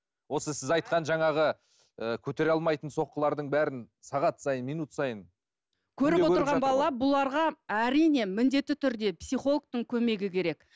осы сіз айтқан жаңағы ы көтере алмайтын соққылардың бәрін сағат сайын минут сайын көріп отырған бала бұларға әрине міндетті түрде психологтың көмегі керек